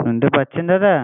শুনতে পারছেন দাদা?